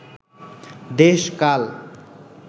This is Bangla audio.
দেশ-কাল